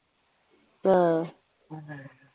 ആഹ്